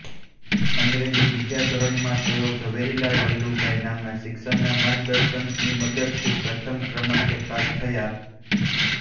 અંગ્રેજી બીજા ધોરણમાં તેઓ ઝવેરીલાલ લલ્લુભાઈ નામના શિક્ષકના માર્ગદર્શનની મદદથી પ્રથમ ક્રમાંકે પાસ થયા